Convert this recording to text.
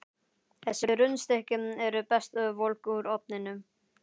Þessi rúnstykki eru best volg úr ofninum.